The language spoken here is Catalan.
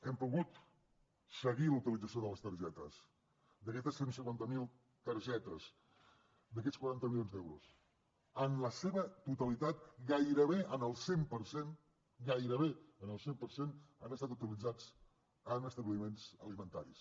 hem pogut seguir la utilització de les targetes d’aquestes cent i cinquanta miler targetes d’aquests quaranta milions d’euros en la seva totalitat gairebé en el cent per cent han estat utilitzats en establiments alimentaris